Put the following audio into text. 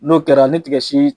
N'o kɛra ni tigɛ si